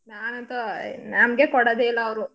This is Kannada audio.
ಹ್ಮ್. ನಾನಂತೂ ನಮ್ಗೆ ಕೊಡದೇ ಇಲ್ಲ ಅವ್ರು.